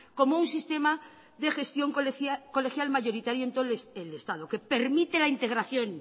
como un sistema de gestión colegial mayoritario en todo el estado que permite la integración